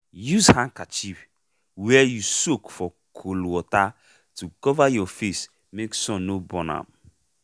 use handkerchief wey you soak for cool water to cover your face make sun no burn am.